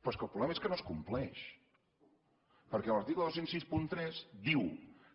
però és que el problema és que no es compleix perquè l’article dos mil seixanta tres diu